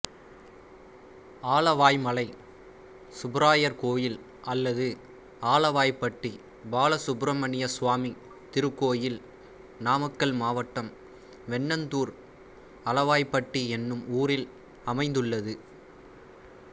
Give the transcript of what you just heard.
ஆலவாய்மலை சுப்பராயர் கோயில் அல்லது அலவாய்ப்பட்டி பாலசுப்ரமணியசுவாமி திருக்கோயில் நாமக்கல் மாவட்டம் வெண்ணந்தூர் அலவாய்ப்பட்டி என்னும் ஊரில் அமைந்துள்ளது